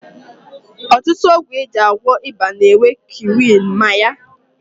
Ọtụtụ ọgwụ e ji agwọ ịba na-enwe kwinin ma ya